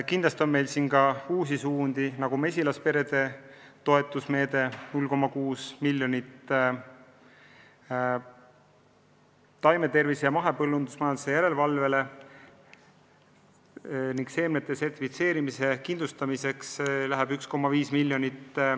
Kindlasti on meil selles ka uusi suundi, näiteks mesilasperede pidajatele läheb 0,6 miljonit, taimetervise ja mahepõllumajanduse järelevalveks ning seemnete sertifitseerimise kindlustamiseks 1,5 miljonit.